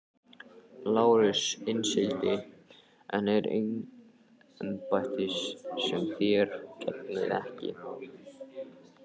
LÁRUS: Innsiglið er eign embættis sem þér gegnið ekki.